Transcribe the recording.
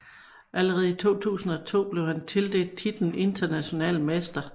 Allerede i 2002 blev han tildelt titlen international mester